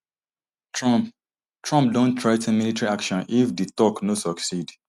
trump trump don threa ten military action if di talks no succeed